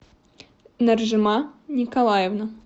наржима николаевна